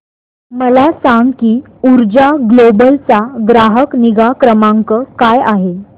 मला सांग की ऊर्जा ग्लोबल चा ग्राहक निगा क्रमांक काय आहे